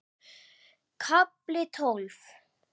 KAFLI TÓLF